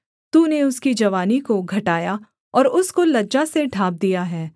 तूने उसकी जवानी को घटाया और उसको लज्जा से ढाँप दिया है सेला